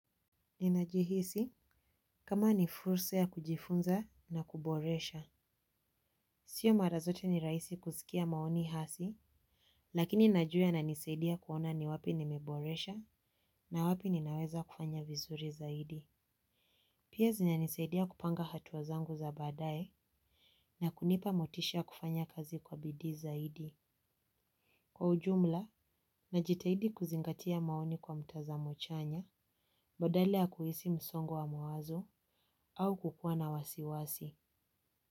Ninajihisi kama ni fursa ya kujifunza na kuboresha. Sio mara zote ni rahisi kusikia maoni hasi. Lakini najua yana nisaidia kuona ni wapi nimeboresha na wapi ninaweza kufanya vizuri zaidi. Pia zinanisaidia kupanga hatua zangu za baadaye na kunipa motisha kufanya kazi kwa bidii zaidi. Kwa ujumla, najitahidi kuzingatia maoni kwa mtazamo chanya, badala ya kuhisi msongo wa mawazo au kukuwa na wasiwasi.